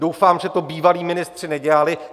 Doufám, že to bývalí ministři nedělali.